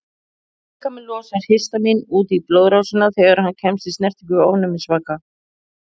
Líkaminn losar histamín út í blóðrásina þegar hann kemst í snertingu við ofnæmisvaka.